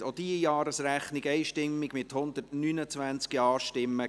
Sie haben auch diese Jahresrechnung einstimmig genehmigt, mit 129 Ja-Stimmen.